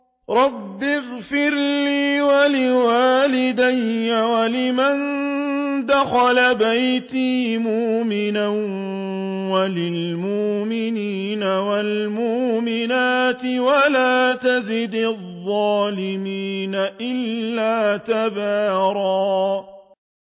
رَّبِّ اغْفِرْ لِي وَلِوَالِدَيَّ وَلِمَن دَخَلَ بَيْتِيَ مُؤْمِنًا وَلِلْمُؤْمِنِينَ وَالْمُؤْمِنَاتِ وَلَا تَزِدِ الظَّالِمِينَ إِلَّا تَبَارًا